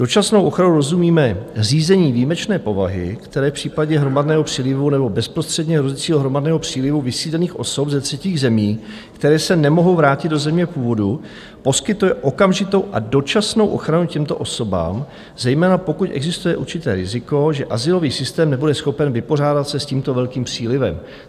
Dočasnou ochranou rozumíme řízení výjimečné povahy, které v případě hromadného přílivu nebo bezprostředně hrozícího hromadného přílivu vysídlených osob ze třetích zemí, které se nemohou vrátit do země původu, poskytuje okamžitou a dočasnou ochranu těmto osobám, zejména pokud existuje určité riziko, že azylový systém nebude schopen vypořádat se s tímto velkým přílivem.